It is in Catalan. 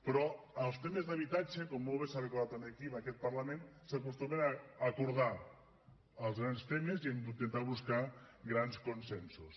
però en els temes d’habitatge com molt bé s’ha recordat aquí en aquest parlament s’acostumen a acordar els grans temes i hem d’intentar buscar grans consensos